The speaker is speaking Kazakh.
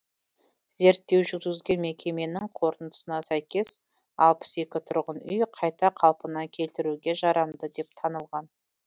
зерттеу жүргізген мекеменің қорытындысына сәйкес алпыс екі тұрғын үй қайта қалпына келтіруге жарамды деп танылған